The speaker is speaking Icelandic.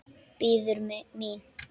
Bíður mín.